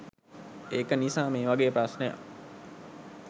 ඒක නිසා මේ වගේ ප්‍රශ්නයක්